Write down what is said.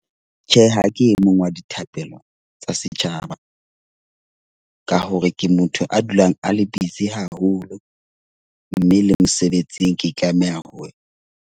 Tjhe, ha ke e mong wa dithapelo tsa setjhaba ka hore ke motho a dulang a le busy haholo. Mme le mosebetsing ke tlameha ho wena .